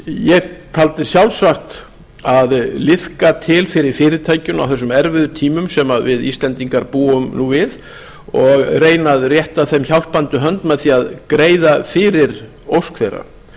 ég taldi sjálfsagt að liðka til fyrir fyrirtækinu á þessum erfiðu tímum sem við íslendingar búum nú við og reyna að rétta þeim hjálpandi hönd með því að greiða fyrir ósk þeirra